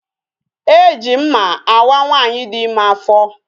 E ji mma awa nwaanyị dị ime afọ